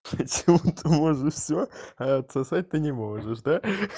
ты можешь всё а отсосать ты не можешь да